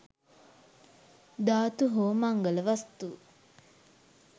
ධාතු හෝ මංගල වස්තු